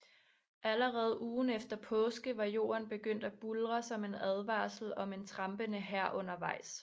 Allerede ugen efter påske var jorden begyndt at buldre som en advarsel om en trampende hær undervejs